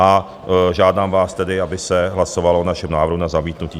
A žádám vás tedy, aby se hlasovalo o našem návrhu na zamítnutí.